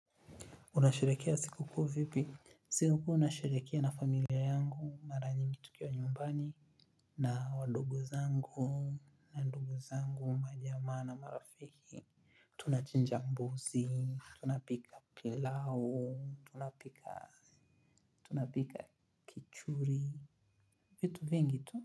Unasherekea siku kuu vipi? Siku kuu nasherekea na familia yangu mara nyingi tukiwa nyumbani. Na wadogo zangu. Na wadogo zangu majamaa na marafiki. Tunachinja mbuzi. Tunapika pilau. Tunapika tuchuri. Vitu vingi tu.